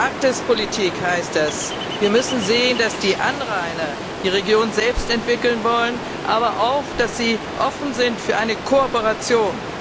Für die Arktispolitik heißt das Wir müssen sehen, dass die Anrainer die Region selbst entwickeln wollen, aber auch, dass sie offen sind für eine Kooperation.